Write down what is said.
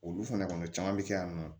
Olu fana kɔni caman bɛ kɛ yan nɔ